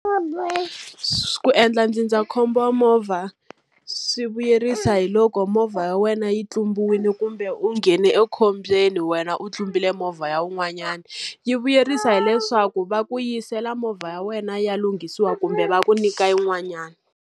Ku endla ndzindzakhombo wa movha swi vuyerisa hi loko movha ya wena yi tlumbiwile kumbe u nghene ekhombyeni wena u tlumbile movha ya wun'wanyani. Yi vuyerisa hileswaku va ku yisela movha ya wena yi ya lunghisiwa kumbe va ku nyika yin'wanyana.